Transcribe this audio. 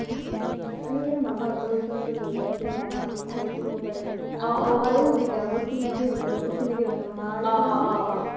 উম সেইকাৰনে মামা হ্'তৰ ওচৰতে ল্'লো জাতে মামা হ্'তে চাই থাকিব পাৰে আমাৰো সুবিধা হ'ব চিনাকিৰ ভিতৰত অচিনাকি মানুহ মাৰ